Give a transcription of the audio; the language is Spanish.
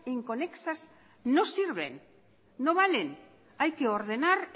inconexas no sirven no valen hay que ordenar